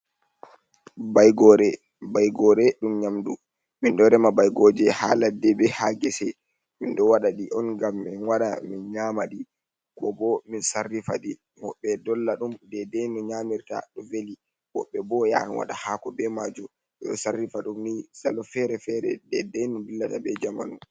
Baigore dum Nyamdu min ɗo rema Baigoje ha Ladde be ha Gese. min ɗo waɗa di'on ngam min wara min Nyamadi ko bo min Sarrifadi. wobɓe dolla ɗum dedai no Nyamirta. Ɗo veli wobbe bo Yahan waɗa hako be majum. be ɗo Sarrifa ɗumni Salo Fere-fere dedai no Dillata be jamanu.